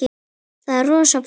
Það er rosa flott.